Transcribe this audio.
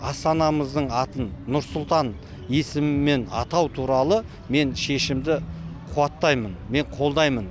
астанамыздың атын нұр сұлтан есімімен атау туралы мен шешімді қуаттаймын мен қолдаймын